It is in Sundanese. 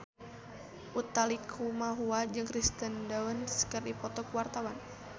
Utha Likumahua jeung Kirsten Dunst keur dipoto ku wartawan